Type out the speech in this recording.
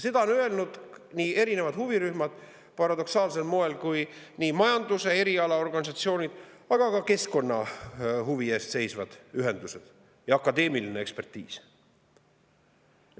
Seda on öelnud erinevad huvirühmad, paradoksaalsel moel nii majanduse erialaorganisatsioonid kui ka keskkonnahuvi eest seisvad ühendused, ja akadeemiline ekspertiis.